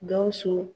Gawusu